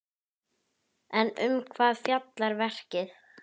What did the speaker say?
En um hvað fjallar verkið?